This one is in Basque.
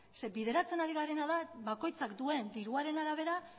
zeren eta bideratzen ari garena da bakoitzak duen diruaren arabera